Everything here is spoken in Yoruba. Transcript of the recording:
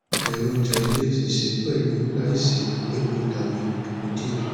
je ouje ile si se pelu laisi epo tabi epo die